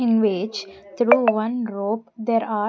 In which through one rope there are --